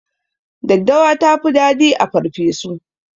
Daddawa tafi dadi a farfeso